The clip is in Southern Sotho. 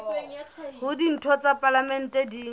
hore ditho tsa palamente di